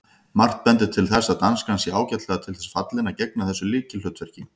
Margt bendir til þess að danskan sé ágætlega til þess fallin að gegna þessu lykilhlutverki.